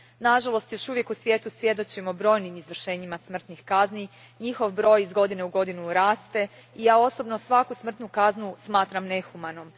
Nažalost, još uvijek u svijetu svjedočimo brojnim izvršenjima smrtnih kazni, njihov broj iz godine u godinu raste i ja osobno svaku smrtnu kaznu smatram nehumanom.